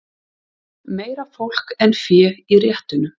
Meira fólk en fé í réttunum